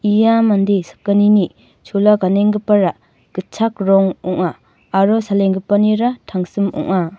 ia mande sakgnini chola ganenggipara gitchak rong ong·a aro salengipanira tangsim ong·a.